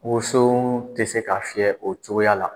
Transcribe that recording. Woso tɛ se ka fiyɛ o cogoya la